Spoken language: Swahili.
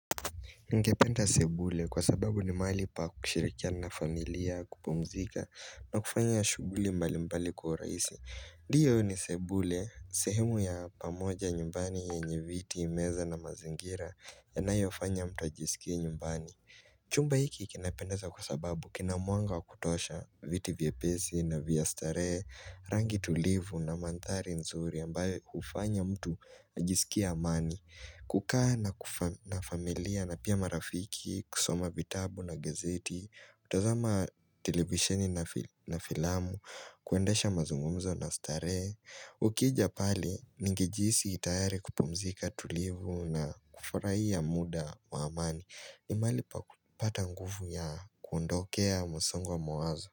Ningependa sebule kwa sababu ni mahali pa kushirikiana na familia kupumzika na kufanya shuguli mbali mbali kwa uraisi Ndiyo ni sebule, sehemu ya pamoja nyumbani yenye viti meza na mazingira yanayofanya mtu ajisikie nyumbani Chumba hiki kinapendeza kwa sababu kina mwanga wa kutosha viti vyepesi na vya starehe, rangi tulivu na manthari nzuri ambayo hufanya mtu ajisikie amani kukaa na familia na pia marafiki, kusoma vitabu na gazeti, kutazama televisheni na filamu, kuendesha mazungumzo na starehe Ukija pale, ningejihisi tayari kupumzika tulivu na kufurahia muda wa amani ni mahali pa kupata nguvu ya kuondokea masongo wa mawazo.